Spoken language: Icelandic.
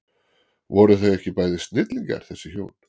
Voru þau ekki bæði snillingar þessi hjón?